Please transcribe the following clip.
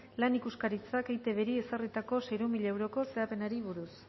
lan ikuskaritzak eitbri ezarritako seiehun mila euroko zehapenari buruz